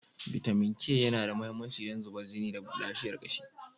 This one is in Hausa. Bitamin K yana da mahimmanci don zubar jini da lafiyar kashi.